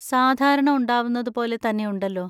സാധാരണ ഉണ്ടാവുന്നതുപോലെ തന്നെയുണ്ടല്ലോ.